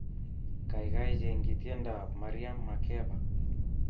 Kaikai chengi tiendoab Miriam Makeba